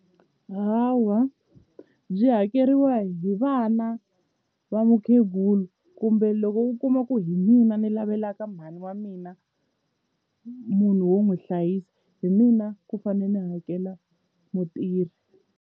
Hawa byi hakeriwa hi vana va mukhegula kumbe loko u kuma ku hi mina ni lavela ka mhani wa mina munhu wo n'wi hlayisa hi mina ku fane ni hakela mutirhi.